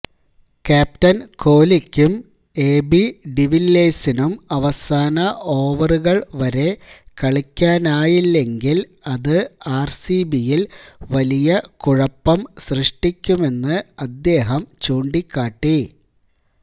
captain കോലിക്കും AB ഡിവില്ലിയേഴ്സിനും അവസാന ഓവറുകള് വരെ കളിക്കാനായില്ലെങ്കില് അത് ആര്സിബിയില് വലിയ കുഴപ്പം സൃഷ്ടിക്കുമെന്ന് അദ്ദേഹം ചൂണ്ടിക്കാട്ടി